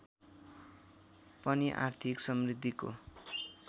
पनि आर्थिक समृद्धिको